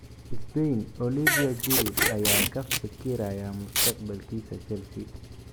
(ESPN) Olivier Giroud ayaa ka fikiraya mustaqbalkiisa Chelsea.